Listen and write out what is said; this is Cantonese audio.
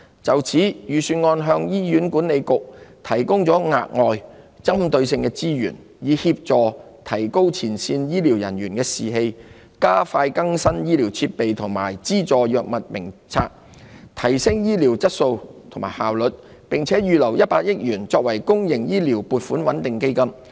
就此，預算案向醫院管理局提供額外、針對性的資源，以協助提高前線醫療人員的士氣，加快更新醫療設備，以及資助藥物名冊，從而提升醫療質素及效率，並預留100億元作為公營醫療撥款穩定基金。